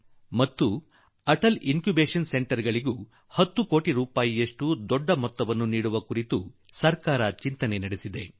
ನಾನು ಹೇಳುತ್ತಿರುವ Atal incubation centre ಗೆ ಸಹ 10 ಕೋಟಿ ರೂಪಾಯಿ ದೊಡ್ಡ ಮೊತ್ತದ ಹಣ ಒದಗಿಸುವ ನಿಟ್ಟಿನಲ್ಲೂ ಸರ್ಕಾರ ಯೋಚಿಸುತ್ತಿದೆ